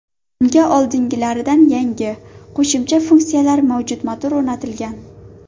Unga oldingilaridan yangi, qo‘shimcha funksiyalar mavjud motor o‘rnatilgan.